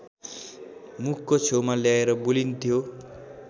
मुखको छेउमा ल्याएर बोलिन्थ्यो